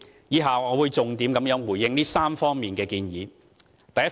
以下我會重點回應這3方面的建議。